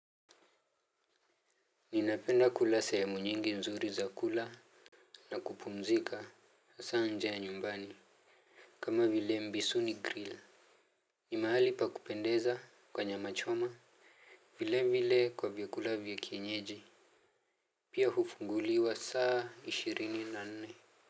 Ninapenda kula sehemu nyingi nzuri za kula. Na kupumzika hasaa nje ya nyumbani. Kama vile mbisu ni grill. Ni mahali pa kupendeza kwa nyama choma vile vile kwa vyakula vya kienyeji. Pia hufunguliwa saa ishirini na nne.